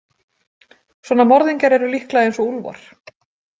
Svona morðingjar eru líklega eins og úlfar.